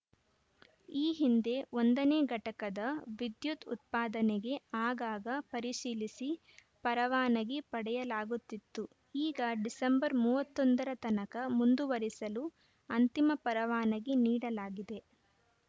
ಈ ಹಿಂದೆ ಒಂದ ನೇ ಘಟಕದ ವಿದ್ಯುತ್‌ ಉತ್ಪಾದನೆಗೆ ಆಗಾಗ ಪರಿಶೀಲಿಸಿ ಪರವಾನಗಿ ಪಡೆಯಲಾಗುತ್ತಿತ್ತು ಈಗ ಡಿಸೆಂಬರ್ ಮೂವತ್ತ್ ಒಂದ ರ ತನಕ ಮುಂದುವರಿಸಲು ಅಂತಿಮ ಪರವಾನಗಿ ನೀಡಲಾಗಿದೆ